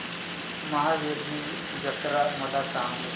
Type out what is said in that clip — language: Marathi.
महावीरजी जत्रा मला सांग